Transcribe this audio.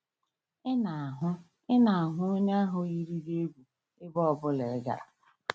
Ị na-ahụ Ị na-ahụ onye ahụ yiri gị egwu ebe ọ bụla ị gara.